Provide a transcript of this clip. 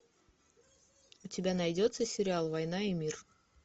у тебя найдется сериал война и мир